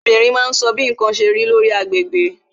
Obìnrin Yorùbá máa ń sọ bí ǹkan ṣe rí, lórí agbègbè